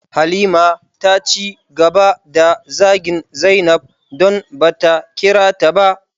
Halima taci gaba da zagin zainab, don bata kirata ba.